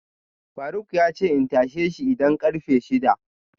faruk yace in tasheshi idan karfe shida